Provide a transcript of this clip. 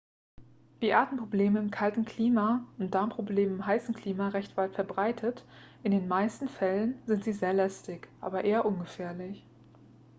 wie atemprobleme in kaltem klima sind darmprobleme in heißem klima recht weit verbreitet in den meisten fällen sind sie sehr lästig aber eher ungefährlich